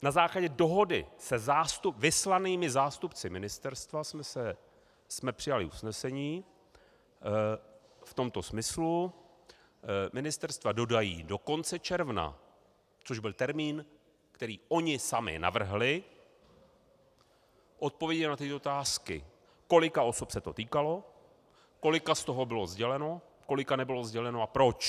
Na základě dohody s vyslanými zástupci ministerstva jsme přijali usnesení v tomto smyslu: Ministerstva dodají do konce června, což byl termín, který oni sami navrhli, odpovědi na tyto otázky: Kolika osob se to týkalo, kolika z toho bylo sděleno, kolika nebylo sděleno a proč.